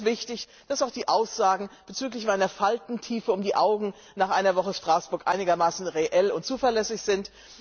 Deshalb ist es wichtig, dass auch die Aussagen bezüglich meiner Faltentiefe um die Augen nach einer Woche Straßburg einigermaßen reell und zuverlässig sind.